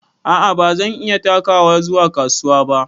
A'a bazan iya takawa zuwa kasuwa ba.